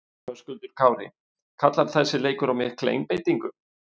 Höskuldur Kári: Kallar þessi leikur á mikla einbeitingu?